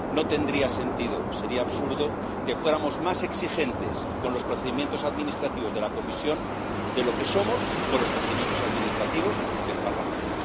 No tendría sentido, sería absurdo que fuéramos más exigentes con los procedimientos administrativos de la Comisión de lo que somos con los procedimientos administrativos del Parlamento.